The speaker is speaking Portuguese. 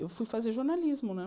Eu fui fazer jornalismo, né?